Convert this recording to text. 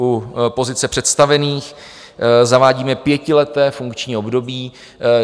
U pozice představených zavádíme pětileté funkční období.